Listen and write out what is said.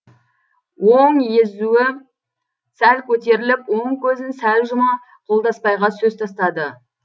оң езуі сәл көтеріліп оң көзін сәл жұма қолдасбайға сөз тастады